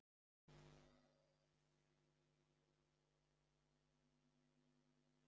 Lillý: Er eitthvað sérstakt sem verður í gangi hjá ykkur í kvöld?